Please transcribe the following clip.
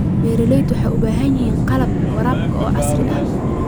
Beeraleydu waxay u baahan yihiin qalab waraab oo casri ah.